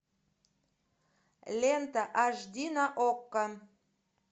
лента аш ди на окко